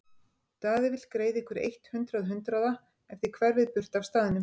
Daði vill greiða ykkur eitt hundrað hundraða ef þið hverfið burt af staðnum.